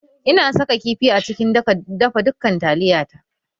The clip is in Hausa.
Ina saka kifi a cikin dafa dukan taliya na